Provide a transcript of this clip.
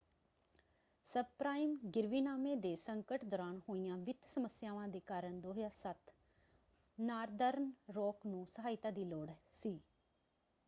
Sub-prime ਗਿਰਵੀਨਾਮੇ ਦੇ ਸੰਕਟ ਦੌਰਾਨ ਹੋਈਆਂ ਵਿੱਤ ਸਮੱਸਿਆਵਾਂ ਦੇ ਕਾਰਨ 2007 ਨਾਰਦਰਨ ਰਾਕ ਨੂੰ ਸਹਾਇਤਾ ਦੀ ਲੋੜ ਸੀ।